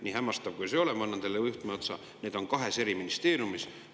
Nii hämmastav, kui see ei ole – ma annan teile juhtmeotsa –, need on kahes eri ministeeriumis.